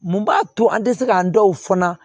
Mun b'a to an tɛ se k'an dɔw fɔ